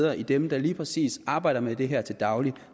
af dem der lige præcis arbejder med det her til daglig